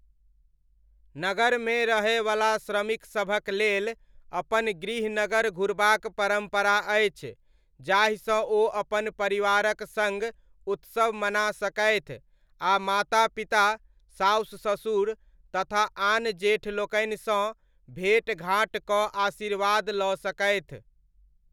नगरमे रहयवला श्रमिकसभक लेल अपन गृहनगर घुरबाक परम्परा अछि जाहिसँ ओ अपन परिवारक सङ्ग उत्सव मना सकथि आ माता पिता, सासु ससुर तथा आन जेठ लोकनिसँ भेँटघाँट कऽ आशीर्वाद लऽ सकथि।